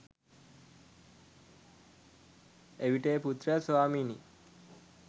එවිට ඒ පුත්‍රයා ස්වාමිනි